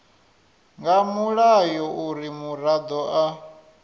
nga mulayo uri muraḓo a